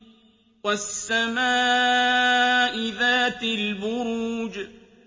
وَالسَّمَاءِ ذَاتِ الْبُرُوجِ